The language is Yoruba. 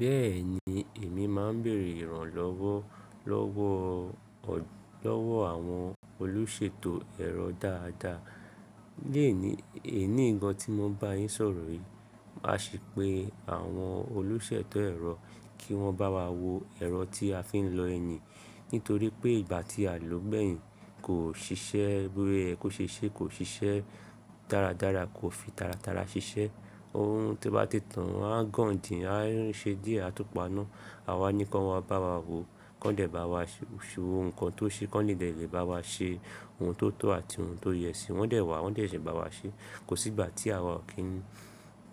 Bẹ́ẹ̀ni, èmi máa ń bèèrè ìrànlọ́wọ́ lọ́wọ́, lọ́wọ́ àwọn olùṣètò ẹ̀rọ dáadáa. Leeni, èní yi gan tí mo ń bá yín sọ̀rọ̀ yìí. Màá ṣẹ pé àwọn olùṣètò ẹ̀rọ kí wọ́n bá wa wo ẹ̀rọ tí a fi ń lọ ẹni. Nítorí pé ìgbà tí a lò ó gbẹ̀yìn kò ṣiṣẹ́, bóye ẹ kó ṣe ṣe kò ṣiṣẹ́ dáradára, kò fi tàràtàrà ṣiṣẹ́. Ohun tí ó bá ti tán a gan dì́n, a ṣe díẹ̀ a túpàá náà. A wá ní kí wọ́n bá wa wo, kí wọ́n dé bá wa ṣọ́ ó, ohun kan tó ṣe, kí wọ́n lè dé ìlé bá wa ṣe ohun tó tọ́ àti ohun tó yẹ sí i. Wọ́n dé wá, wọ́n dé se bá wa ṣe. Kò sí ìgbà tí àwa ò kí ń,